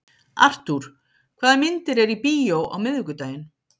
Artúr, hvaða myndir eru í bíó á miðvikudaginn?